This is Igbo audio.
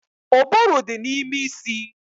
Ụbụrụ dị n'ime isi